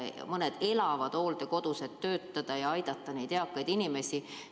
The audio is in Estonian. Ja mõned lausa elavad hooldekodus, et aidata neid eakaid inimesi.